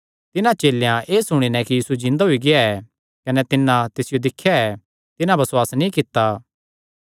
तिन्हां चेलेयां एह़ सुणी नैं कि यीशु जिन्दा होई गेआ ऐ कने तिन्नै तिसियो दिख्या ऐ तिन्हां बसुआस नीं कित्ता